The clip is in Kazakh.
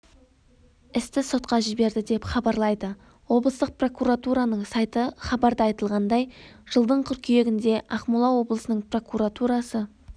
істі сотқа жіберді деп хабарлайды облыстық прокуратураның сайты хабарда айтылғандай жылдың қыркүйегінде ақмола облысының прокуратурасы